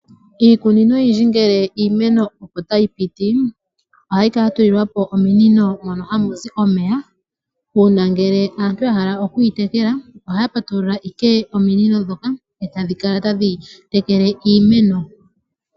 Iikunino oyindji ngele iimeno opo tayi piti ohayi kala ya tulilwapo ominino mono hamu zi omeya . Uuna ngele aantu ya hala oku yi tekela ohaya patulula ashike ominino ndhoka etadhi kala tadhi tekele iimeno.